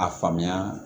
A faamuya